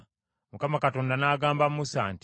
Mukama Katonda n’agamba Musa nti,